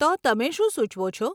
તો, તમે શું સુચવો છો?